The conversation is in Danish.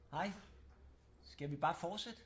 Hej skal vi bare fortsætte?